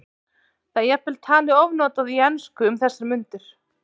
Það er jafnvel talið ofnotað í ensku um þessar mundir.